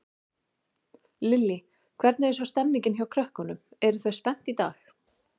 Lillý: Hvernig er svo stemmingin hjá krökkunum, eru þau spennt í dag?